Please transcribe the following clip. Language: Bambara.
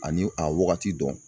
Ani a wagati dɔn